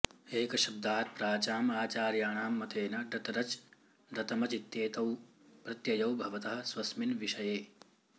एकशब्दात् प्राचाम् आचार्याणां मतेन डतरच् डतमचित्येतौ प्रत्ययौ भवतः स्वस्मिन् विष्यए